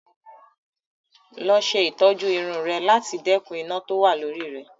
Lọ ṣe ìtọ́jú irun ẹ láti dẹ́kun iná tó wà ni orí rẹ